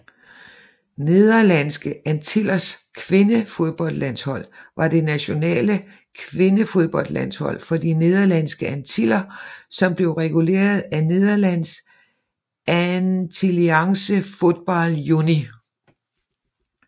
Nederlandske Antillers kvindefodboldlandshold var det nationale kvindefodboldlandshold for De Nederlandske Antiller som blev reguleret af Nederlands Antilliaanse Voetbal Unie